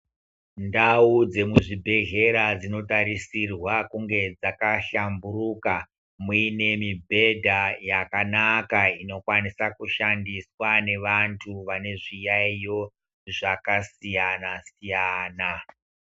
Ndau dzemuzvibhehlera dzinotarisirwa kunge dzakahlamburuka. Muine mibhedha yakanaka inokwanisa kushandiswa nevantu vane zviyayo zvakasiyana-siyana.